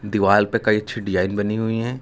दीवार पे कई अच्छी डिजाइन बनी हुई हैं।